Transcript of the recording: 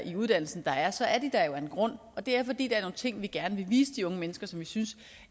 i uddannelsen der er så er de der jo af en grund det er fordi der er nogle ting vi gerne vil vise de unge mennesker og som vi synes